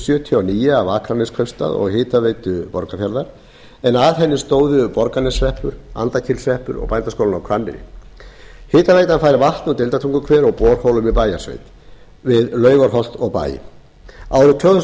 sjötíu og níu af akraneskaupstað og hitaveitu borgarfjarðar en að henni stóðu borgarneshreppur andakílshreppur og bændaskólinn á hvanneyri hitaveitan fær vatn úr deildartunguhver og borholum í bæjarsveit við laugarholt og bæ árið tvö þúsund